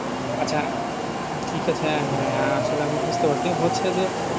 আচ্ছা ঠিক আছে হ্যাঁ হ্যাঁ আসলে আমি বুঝতে পারচ্ছি হচ্ছে যে